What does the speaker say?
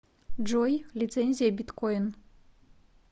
джой лицензия биткойн